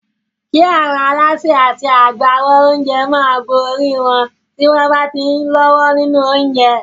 Kí àwọn alásè àti àwọn agbáwo oúnjẹ máa bo orí wọn tí wọ́n bá ti ń lọ́wọ́ nínú oúnjẹ.